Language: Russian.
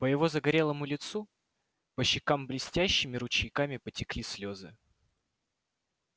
по его загорелому лицу по щекам блестящими ручейками потекли слезы